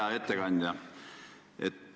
Hea ettekandja!